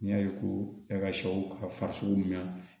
N'i y'a ye ko e ka sɛw ka farisoko mɛn